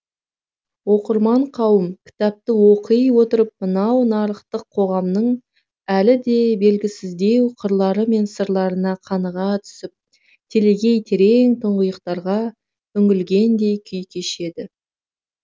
оқырман қауым кітапты оқый отырып мынау нарықтық қоғамның әлі де белгісіздеу қырлары мен сырларына қаныға түсіп телегей терең тұңғиықтарға үңілгендей күй кешеді